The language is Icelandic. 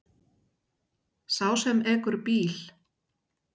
Sá sem ekur bíl.